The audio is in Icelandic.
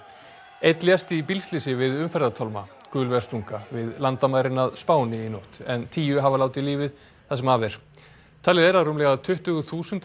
einn lést í bílslysi við umferðartálma gulvestunga við landamærin að Spáni í nótt en tíu hafa látið lífið það sem af er talið er að rúmlega tuttugu þúsund